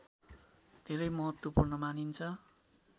धेरै महत्त्वपूर्ण मानिन्छ